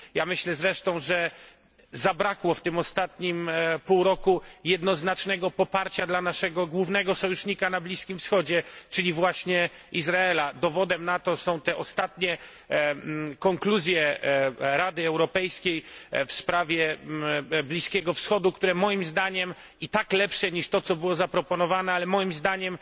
Myślę, że zabrakło w tym ostatnim pół roku jednoznacznego poparcia dla naszego głównego sojusznika na Bliskim Wschodzie, czyli właśnie Izraela. Dowodem na to są ostatnie konkluzje Rady Europejskiej w sprawie Bliskiego Wschodu, które chociaż moim zdaniem są i tak lepsze niż to, co było zaproponowane,